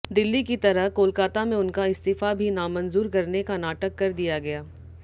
दिल्ली की तरह कोलकाता में उनका इस्तीफा भी नामंजूर करने का नाटक कर दिया गया